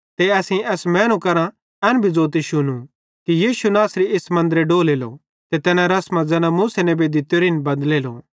ते असेईं एस मैनू करां एन भी ज़ोतू शुनू कि यीशु नासरी इस मन्दरे डोलेलो ते तैना रसमां ज़ैना मूसा नेबे दित्तोरिन बदलेलो